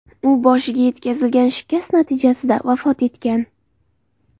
U boshiga yetkazilgan shikast natijasida vafot etgan.